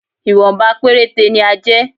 Ìwọ̀nba péréte ni á jẹ́